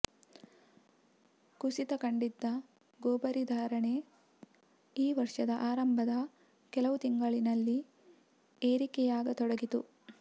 ಕುಸಿತ ಕಂಡಿದ್ದ ಕೊಬರಿ ಧಾರಣೆ ಈ ವರ್ಷದ ಆರಂಭದ ಕೆಲವು ತಿಂಗಳಿನಲ್ಲಿ ಏರಿಕೆಯಾಗತೊಡಗಿತು